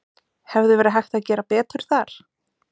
Hefði verið hægt að gera betur þar?